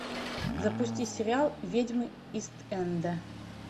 запусти сериал ведьмы ист энда